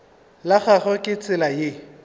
la gagwe ke tsela ye